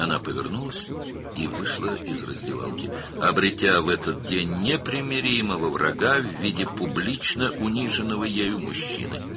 O, geri döndü və soyunma otağından çıxdı, həmin gün ictimai şəkildə alçaltdığı bir kişi şəklində barışmaz bir düşmən qazandı.